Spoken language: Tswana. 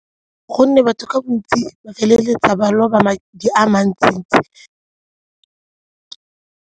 Gonne batho ka bontsi ba feleletsa ba loba madi a mantsi-ntsi.